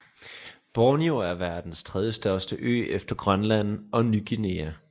Borneo er verdens tredjestørste ø efter Grønland og Ny Guinea